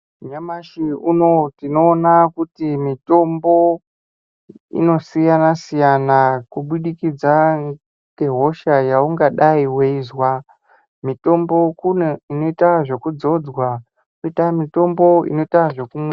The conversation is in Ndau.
Nyamashi unou tinoona kuti mitombo inosiyana siyana kubudikidza ngehosha yeungadayi weizwa. Mitombo kune inoita zvekudzodzwa kwoita mitombo inoita zvekumwiwa.